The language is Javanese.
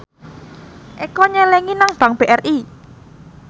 Eko nyelengi nang bank BRI